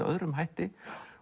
öðrum hætti